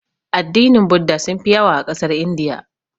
Addinin budda sunfi yawa a ƙasar Indiya.